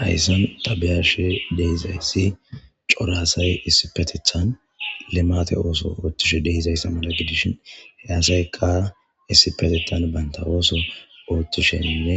Haysan ta be'ashe de'izays cora asay issipetetan climate ooso othishe dizaysa mala gidishn he asayka issipetetan banta ooso otishene